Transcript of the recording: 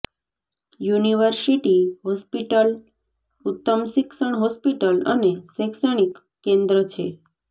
university hospital ઉત્તમ શિક્ષણ hospital અને શૈક્ષણિક કેન્દ્ર છે